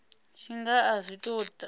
tshi nga a zwi tou